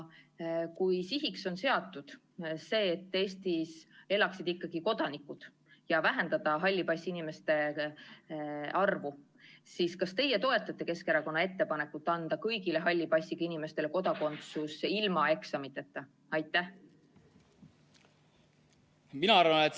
Kui sihiks on seatud see, et Eestis elaksid ikkagi kodanikud, ja see, et vähendada halli passiga inimeste arvu, siis kas teie toetate Keskerakonna ettepanekut anda kõigile halli passiga inimestele kodakondsus ilma eksamiteta?